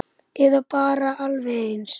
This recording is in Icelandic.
Eða bara alveg eins.